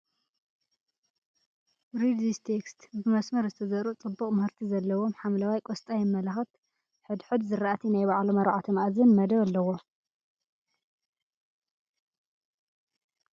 ብ መስመር ዝተዘርኡ ፅቡቅ ምህርቲ ዘሎዎም ሓምለዋይ ቆስጣ የመላክት ። ሕድ ሕድ ዝራእቲ ናይ ባዕሎም ኣርባዕተ ምኣዝን መደብ ኣለዎም ።